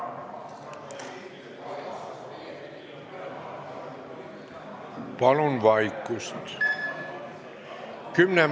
Hääletustulemused Palun vaikust!